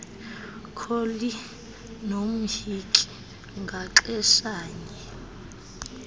kholi nomhinki ngaxeshanye